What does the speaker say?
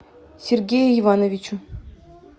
сергею ивановичу